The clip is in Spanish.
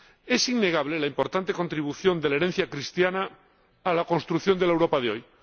Es innegable la importante contribución de la herencia cristiana a la construcción de la Europa de hoy.